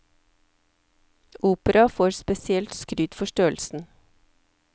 Opera får spesielt skryt for størrelsen.